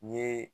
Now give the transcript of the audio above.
N ye